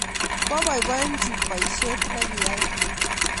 Kwaboiboichi boisiet nekiyai